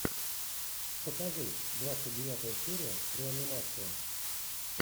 покажи двадцать девятая серия реанимация